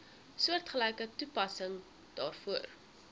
soortgelyke toepassing daarvoor